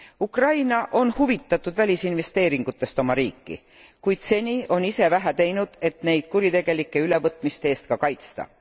Ukraina on huvitatud välisinvesteeringutest oma riiki, kuid seni on ise vähe teinud, et neid kuritegelike ülevõtmiste eest ka kaitsta.